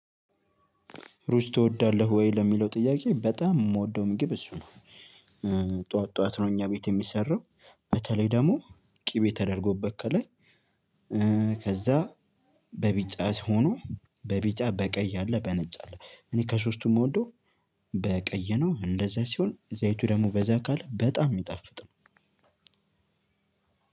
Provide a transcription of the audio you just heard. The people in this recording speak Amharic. ሩዝ ትወዳለህ ወይ? ለሚለው ጥያቄ በጣም የምወደው ምግብ እሱ ነው። ጠዋት ጠዋት ነው እኛ ቤት የሚሰራው በተለይ ደግሞ ቅቤ ተደርጎበት ከላይ። ከዛ በቢጫ ሲሆኑ በቢጫ በቀይ አለ በነጭ አለ። እኔ ከሶስቱም የምወደው በቀይ ነው። እንደዛ ሲሆን ዘይቱ ደግሞ በዛ ካለ በጣም ነው የሚጣፍጠው።